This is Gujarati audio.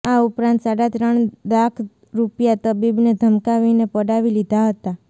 આ ઉપરાંત સાડા ત્રણ લાખ રૂપિયા તબીબને ધમકાવીને પડાવી લીધા હતા